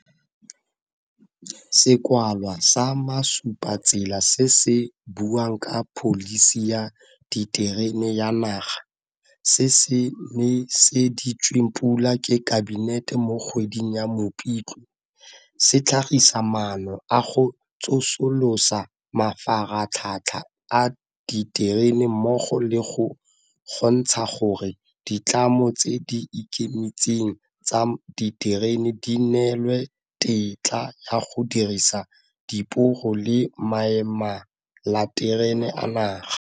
Sekwalwa sa Masupatsela se se buang ka Pholisi ya Diterene ya Naga, se se neseditsweng pula ke Kabinete mo kgweding ya Mopitlwe, se tlhagisa maano a go tsosolosa mafaratlhatlha a diterene mmogo le go kgontsha gore ditlamo tse di ikemetseng tsa diterene di neelwe tetla ya go dirisa diporo le maemelaterene a naga.